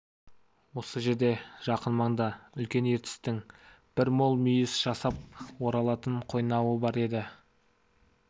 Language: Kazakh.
осы жерде жақын маңда үлкен ертістің бір мол мүйіс жасап оралатын қойнауы бар еді